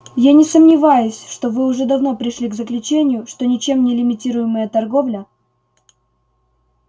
я не сомневаюсь что вы уже давно пришли к заключению что ничем не лимитируемая торговля